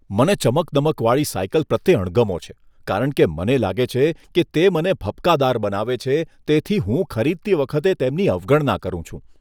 મને ચમકદમકવાળી સાઈકલ પ્રત્યે અણગમો છે કારણ કે મને લાગે છે કે તે મને ભપકાદાર બનાવે છે, તેથી હું ખરીદતી વખતે તેમની અવગણના કરું છું.